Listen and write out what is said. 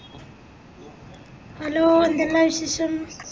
hello എന്തെല്ല വിശേഷം